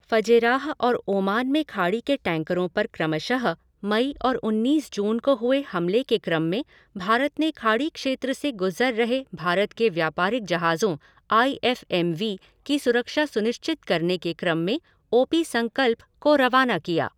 Fujairah और Oman की खाड़ी में टैंकरों पर क्रमशः मई और उन्नीस जून को हुए हमले के क्रम में भारत ने खाड़ी क्षेत्र से गुजर रहे भारत के व्यापारिक जहाजों आई एफ़ एम वी की सुरक्षा सुनिश्चित करने के क्रम में ओ पी संकल्प को रवाना किया।